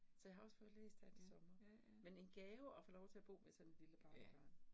Så jeg har også fået læst her til sommer, men en gave at få lov til at bo med sådan et lille barnebarn